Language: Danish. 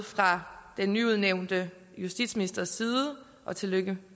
fra den nyudnævnte justitsministers side og tillykke